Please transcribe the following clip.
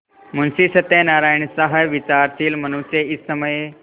मुंशी सत्यनारायणसा विचारशील मनुष्य इस समय